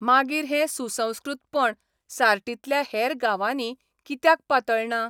मागीर हें सुसंस्कृतपण सार्टीतल्या हेर गांवांनी कित्याक पातळना?